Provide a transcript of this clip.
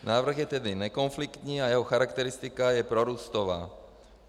Návrh je tedy nekonfliktní a jeho charakteristika je prorůstová.